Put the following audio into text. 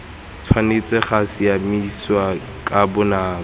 tshwanetse ga siamisiwa ka bonako